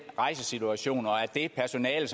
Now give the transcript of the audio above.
rejsesituationer og at det personale